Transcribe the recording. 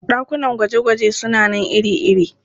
Ɗakunan gwaje-gwaje suna nan iri-iri.